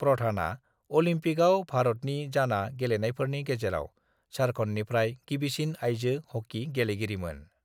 प्रधानआ अलंपिकआव भारतनि जाना गेलेनायफोरनि गेजेराव झारखंडनिफ्राय गिबिसिन आइजो हॉकी गेलेगिरिमोन।